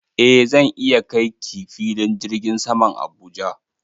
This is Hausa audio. Eh zan iya kai ki filin jirgin saman Abuja.